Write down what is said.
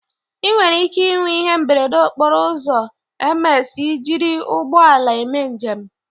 ị nwere ike ịnwe ihe mberede okporo ụzọ ms ị jiri ụgbọ ala eme njem